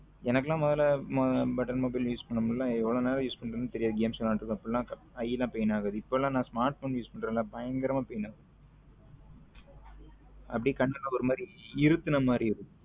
எனக்கெல்லாம் முதல்ல button mobile use பண்ணும் போதெல்லாம் எவ்வளவு நேரம் use பண்றோம்னு தெரியாது games விளையடிருகோம் இப்பிடிலாம் eye லம் pain ஆகாது இப்போ எல்லாம smartphone use பன்றேன்ல பயங்கரமா pain ஆகுது அப்படியே கண்ணு ஒரு மாதிரி இருக்குனா மாதிரி